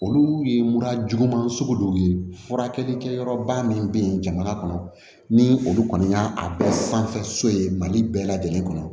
Olu ye mura juguman sugu dɔw ye furakɛlikɛyɔrɔba min be yen jamana kɔnɔ ni olu kɔni y'a bɛɛ sanfɛ so ye mali bɛɛ lajɛlen kɔnɔ